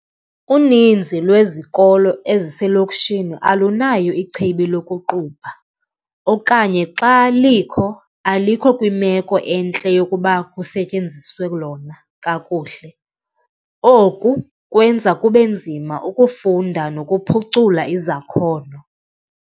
Uninzi lwezikolo eziselokishini alunayo ichibi lokuqubha okanye xa likho, alikho kwimeko entle yokuba kusetyenziswe lona kakuhle. Oku kwenza kube nzima ukufunda nokuphucula izakhono.